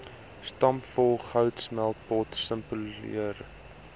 stampvol goudsmeltpot simboliseer